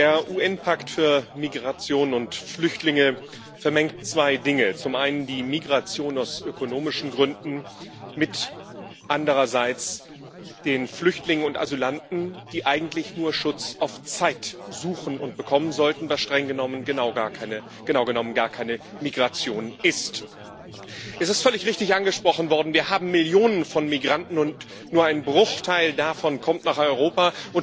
Der UN Pakt für Migration und Flüchtlinge vermengt zwei Dinge zum einen die Migration aus ökonomischen Gründen, zum anderen die Flüchtlinge und Asylanten, die eigentlich nur Schutz auf Zeit suchen und bekommen sollten, was genau genommen gar keine Migration ist. Es ist völlig richtig angesprochen worden Wir haben Millionen von Migranten, und nur ein Bruchteil davon kommt nach Europa.